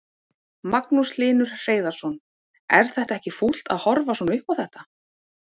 Magnús Hlynur Hreiðarsson: Er þetta ekki fúlt að horfa svona upp á þetta?